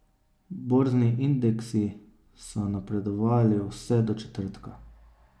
Borzni indeksi so napredovali vse do četrtka.